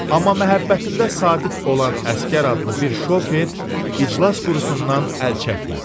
Amma məhəbbətində sadiq olan əsgər adlı bir şofer iclas qurusundan əl çəkmədi.